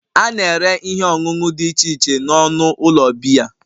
A na-ere ihe ọṅụṅụ dị iche iche n'ọnụ ụlọ biya